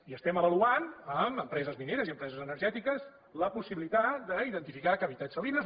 i estem avaluant amb empreses mineres i empreses energètiques la possibilitat d’identificar cavitats salines